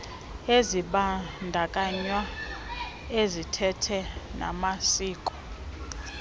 ezibandakanya izithethe namasiko